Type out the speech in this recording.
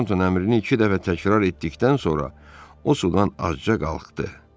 Torton əmrini iki dəfə təkrar etdikdən sonra o sudan azca qalxdı.